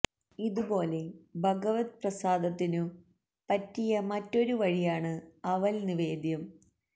ഇതു പോലെ ഭഗവല് പ്രസാദത്തിനു പറ്റിയ മറ്റൊരു വഴിയാണ് അവല് നിവേദ്യം